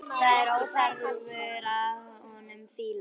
Það er óþefur af honum fýla!